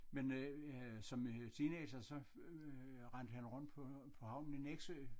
Men øh som øh teenager så øh rendte han rundt på på havnen i Nexø